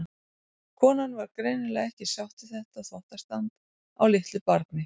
Konan var greinilega ekki sátt við þetta þvottastand á litlu barni.